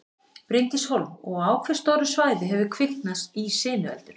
Bryndís Hólm: Og á hve stóru svæði hefur kviknað í sinueldur?